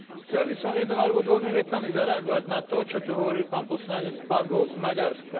Chcel by som jednou alebo dvomi vetami zareagovať na to, čo tu hovoril pán poslanec Bagó z Maďarska.